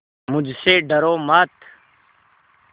मुझसे डरो मत